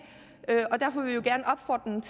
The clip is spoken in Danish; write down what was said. og derfor vil vi jo gerne